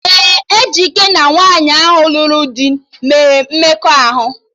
Ee, Ejike na nwaanyị ahụ lụrụ do mere mmekọahụ